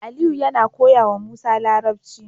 Aliyu yAna koyawa musa larabci